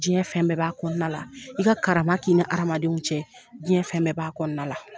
Jiyɛn fɛn bɛɛ b'a kɔnɔna la i ka karama k'i ni hadamadenw cɛ jiyɛn fɛn bɛɛ b'a kɔnɔna la.